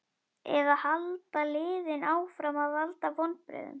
Eða halda liðin áfram að valda vonbrigðum?